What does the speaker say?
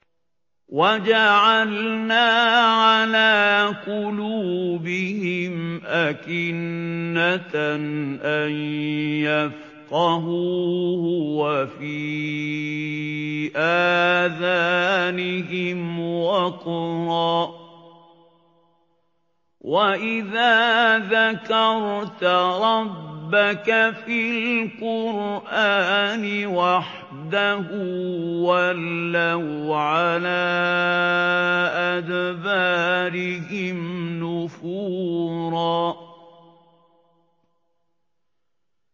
وَجَعَلْنَا عَلَىٰ قُلُوبِهِمْ أَكِنَّةً أَن يَفْقَهُوهُ وَفِي آذَانِهِمْ وَقْرًا ۚ وَإِذَا ذَكَرْتَ رَبَّكَ فِي الْقُرْآنِ وَحْدَهُ وَلَّوْا عَلَىٰ أَدْبَارِهِمْ نُفُورًا